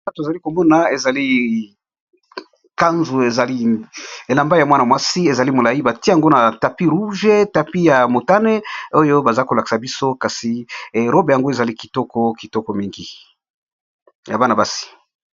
Awa tozali komona ezali canvre ezali elamba ya mwana mwasi, ezali molayi batie yango na tapi rouge tapi ya motane oyo baza ko lakisa biso kasi robe yango ezali kitoko kitoko mingi ya bana basi.